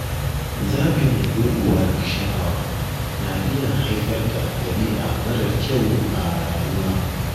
Zaɓin gurguwar sha’awa na iya haifar da ɗabi’a marar kyau a rayuwa.